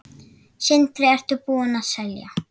Sindri: Ertu búinn að selja?